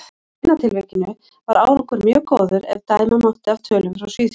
Í seinna tilvikinu var árangur mjög góður, ef dæma mátti af tölum frá Svíþjóð.